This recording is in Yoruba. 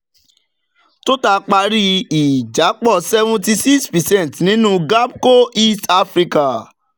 total parí ìjápọ̀ seventy-six percent nínú gapco east africa